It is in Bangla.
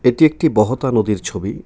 এটি একটি বহতা নদীর ছবি.